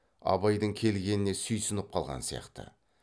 абайдың келгеніне сүйсініп қалған сияқты